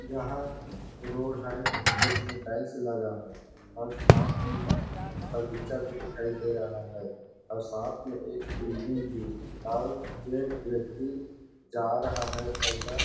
यहाँ रोड है जिसमें टाइल्स लगा है और साथ में बगीचा भी दिखाई दे रहा है और साथ में एक बिल्डिंग भी और एक व्यक्ति जा रहा है ऐसा --